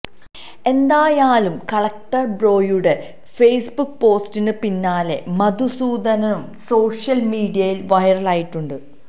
എന്തായാലും കലക്ടർ ബ്രോയുടെ ഫേസ്ബുക്ക് പോസ്റ്റിന് പിന്നാലെ മധുസൂദനനും സോഷ്യൽ മീഡിയയിൽ വൈറലായിട്ടുണ്ട്